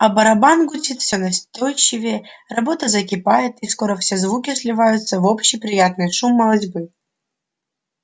а барабан гудит всё настойчивее работа закипает и скоро все звуки сливаются в общий приятный шум молотьбы